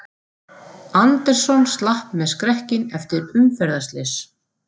Anderson slapp með skrekkinn eftir umferðarslys